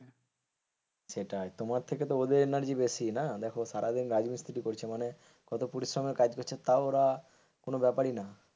সেটাই তোমার থেকে তো ওদের energy বেশি না দেখো সারাদিন রাজমিস্ত্রি কাজ করছে মানে কত পরিশ্রমের কাজ করছে তাও ওরা কোন ব্যাপারই না।